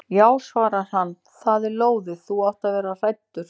Já svarar hann, það er lóðið, þú átt að vera hræddur.